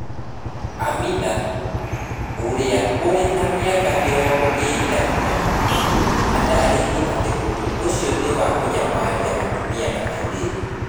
Amina, ũrĩa ũrĩ mĩaka mĩrongo ĩrĩ na inya, aataarĩirie atĩ ũndũ ũcio nĩ wa kũnyamaria atumia na airĩtu.